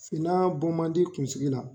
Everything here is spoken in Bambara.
Finan bɔ man di kun sigi la.